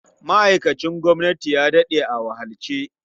Ma'aikacin gwamnati ya daɗe a wahalce.